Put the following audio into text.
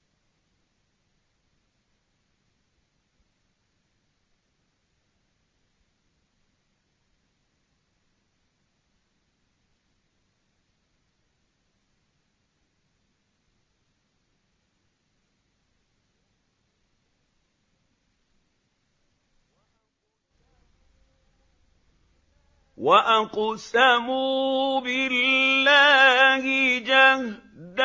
۞ وَأَقْسَمُوا بِاللَّهِ جَهْدَ